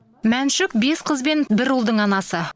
мәншүк бес қыз бен бір ұлдың анасы